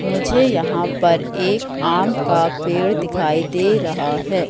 मुझे यहां पर एक आम का पेड़ दिखाई दे रहा है।